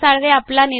यांनी दिलेला आहे